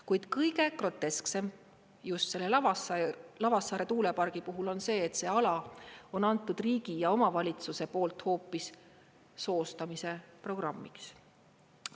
Kuid kõige grotesksem just selle Lavassaare tuulepargi puhul on see, et see ala on antud riigi ja omavalitsuse poolt hoopis soostamise programmiks.